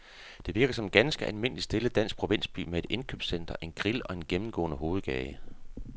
Det virker som en ganske almindelig stille dansk provinsby med et indkøbscenter, en grill og en gennemgående hovedgade.